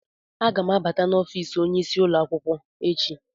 Aga m abata n'ọfịs onyeisi ụlọ akwụkwọ echi.